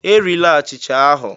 E rile achịcha ahụ!